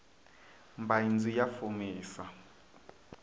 mbaindzu ya fumisa